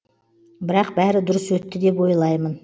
бірақ бәрі дұрыс өтті деп ойлаймын